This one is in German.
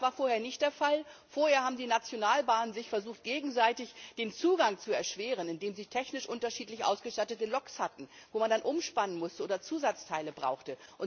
Das war vorher nicht der Fall. Vorher haben die Nationalbahnen versucht, sich gegenseitig den Zugang zu erschweren, indem sie technisch unterschiedlich ausgestattete Loks hatten, wo man dann Umspannen muss oder Zusatzteile braucht.